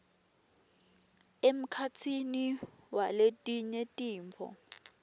emkhatsini waletinye tintfo